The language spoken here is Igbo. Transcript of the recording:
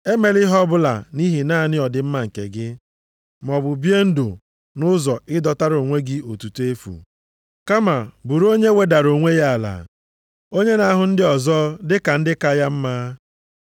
Emela ihe ọbụla nʼihi naanị ọdịmma nke gị, maọbụ bie ndụ nʼụzọ ịdọtara onwe gị otuto efu. Kama bụrụ onye wedara onwe ya ala, onye na-ahụ ndị ọzọ dị ka ndị ka ya mma.